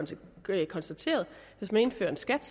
konstateret at hvis man indfører en skat